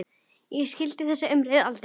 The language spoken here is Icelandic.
Ég skildi þessa umræðu aldrei.